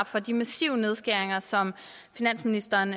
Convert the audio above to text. for de massive nedskæringer som finansministeren